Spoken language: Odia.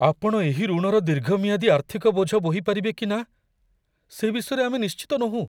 ଆପଣ ଏହି ଋଣର ଦୀର୍ଘମିଆଦୀ ଆର୍ଥିକ ବୋଝ ବୋହି ପାରିବେ କି ନା, ସେ ବିଷୟରେ ଆମେ ନିଶ୍ଚିତ ନୋହୁଁ।